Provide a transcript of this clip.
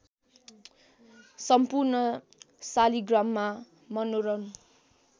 सम्पूर्ण शालिग्राममा मनोरम